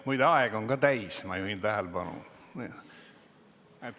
Muide, aeg on ka täis, ma juhin tähelepanu.